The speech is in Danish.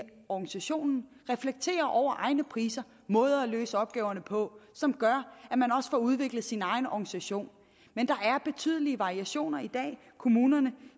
organisationen reflekterer over egne priser måder at løse opgaverne på som gør at man også får udviklet sin egen organisation men der er betydelige variationer i dag kommunerne